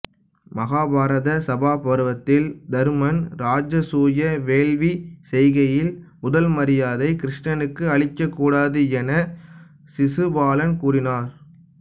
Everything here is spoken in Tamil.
மகாபாரத சபா பருவத்தில் தருமன் இராஜசூய வேள்வி செய்கையில் முதல் மரியாதை கிருஷ்ணனுக்கு அளிக்கக் கூடாது என சிசுபாலன் கூறினார்